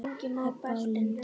Heba og Linda.